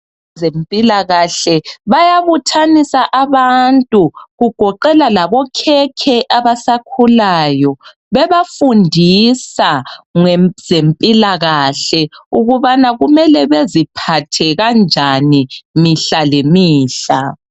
Abezempilakahle bayabuthanisa abantu kugoqela labokhekhe abasakhulayo bebafundisa ngezempilakahle ukubana kumele beziphathe kanjani mihla ngemihla